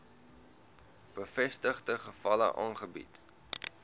bevestigde gevalle aangebied